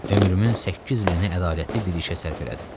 Ömrümün səkkiz ilini ədalətli bir işə sərf elədim.